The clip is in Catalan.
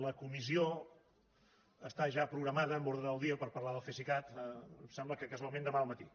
la comissió està ja programada amb ordre del dia per parlar del cesicat em sembla que casualment demà al matí